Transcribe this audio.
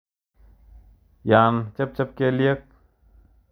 Yon chebcheb kelyek